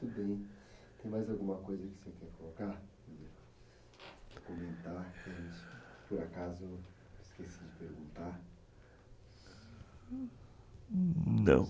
tem mais alguma coisa que você quer colocar?